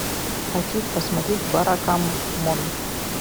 хочу посмотреть баракамон